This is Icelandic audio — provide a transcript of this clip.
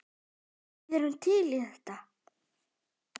Við erum til í þetta.